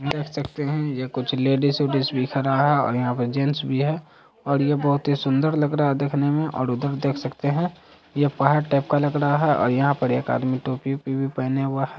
देख सकते है ये कुछ लेडीज वेडीज भी खड़ा है और यहाँ पे जेंट्स भी है और ये बहुत ही सुंदर लग रहा है देखने में और उधर देख सकते है ये पहाड़ टाइप का लग रहा है और यहाँ पे एक आदमी टोपी-वोपी भी पेहेने हुआ --